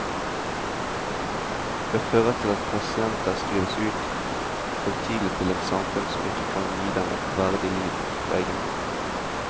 Det fører til at pasienter skrives ut for tidlig til et samfunn som ikke kan gi dem et verdig liv på egen hånd.